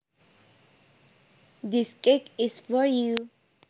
This cake is for you